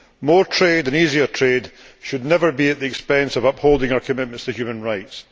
More trade and easier trade should never be at the expense of upholding our commitments to human rights.